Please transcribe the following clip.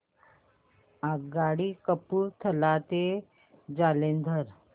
आगगाडी कपूरथला ते जालंधर